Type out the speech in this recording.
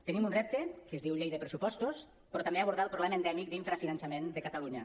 tenim un repte que es diu llei de pressupostos però també abordar el problema endèmic d’infrafinançament de catalunya